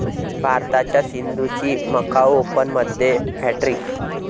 भारताच्या सिंधूची मकाऊ ओपनमध्ये हॅटट्रिक